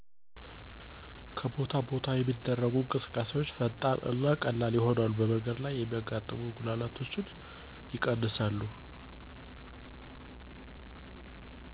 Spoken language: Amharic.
ከቦታ ቦታ የሚደረጉ እንቅስቃሴዎች ፈጣን እና ቀላል ይሆናሉ በመንገድ ላይ የሚያጋጥሙ መጉላላቶች ይቀንሳሉ።